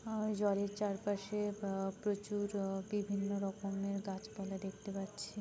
আর জলের চারপাশে ব প্রচুর ই বিভিন্ন রকমের গাছপালা দেখতে পাচ্ছি।